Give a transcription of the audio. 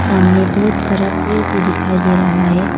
सामने बहुत सारा पेड़ भी दिखाई दे रहा है।